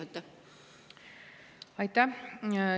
Aitäh!